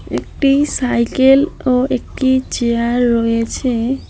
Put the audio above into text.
একটি সাইকেল ও একটি চেয়ার রয়েছে।